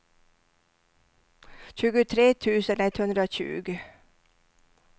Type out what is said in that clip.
tjugotre tusen etthundratjugo